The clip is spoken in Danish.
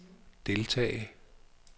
deltage